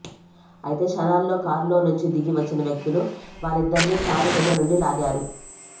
అయితే క్షణాల్లో కారులో నుంచి దిగి వచ్చిన వ్యక్తులు వాళ్ళిద్దరినీ కారు కింద నుండి లాగారు